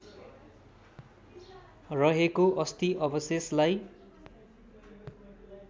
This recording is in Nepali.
रहेको अस्थि अवशेषलाई